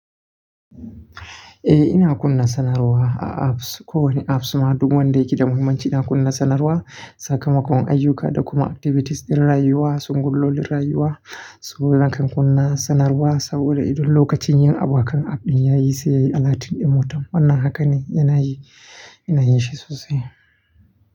Eh ina kunna sanarwa a apps. Ko wane apps ma duk wanda yake da muhimmanci ina kunna sanarwa. Sakamakon ayyuka da kuma activities ɗin rayuwa, sabgogin rayuwa, su lakan kunna sanarwa saboda idan lokacin yin abokan app ɗin ya yi sai yayi alatun ɗin mota. Wannan haka ne yana yi, yana yin shi sosai.